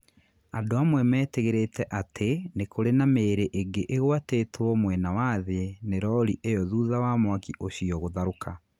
Andũ amwe metigĩrĩte atĩ nĩ kũrĩ na mĩĩrĩ ĩngĩ ĩgwatiĩtio mwena wa thĩ nĩ rori iyo thutha wa mwaki ũcio gũtharũka.